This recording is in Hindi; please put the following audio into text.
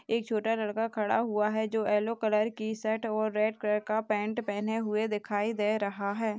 एक छोटा लड़का खड़ा हुआ है जो येलो कलर की शर्ट और रेड कलर का पैंट पहने हुए दिखाई दे रहा है।